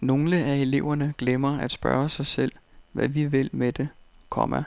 Nogle af eleverne glemmer at spørge sig selv hvad vi vil med det, komma